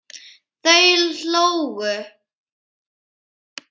Þau hlógu.